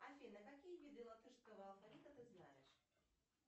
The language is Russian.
афина какие виды латышского алфавита ты знаешь